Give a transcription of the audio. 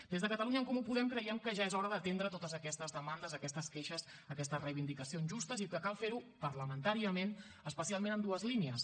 des de catalunya en comú podem creiem que ja és hora d’atendre totes aquestes demandes aquestes queixes aquestes reivindicacions justes i que cal fer ho parlamentàriament especialment en dues línies